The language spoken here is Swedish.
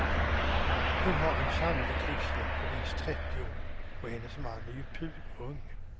Hon har en sannolik livslängd på minst trettio år, och hennes man är ju purung.